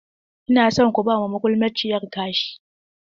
Ina son ku ba ma magulmaciyar kashi!